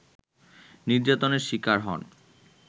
নির্যাতনের শিকার হন